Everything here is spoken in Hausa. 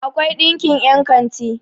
akwai ɗinkin yankanti